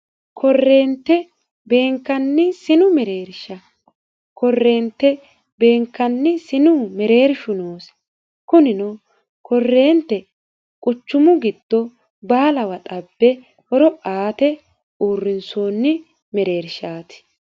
korreente beenkanni sinu mereersha korreente beenkanni sinu mereershu noosi kunino korreente quchumu giddo baalawa xabbe horo aate uurrinsoonni mereershaati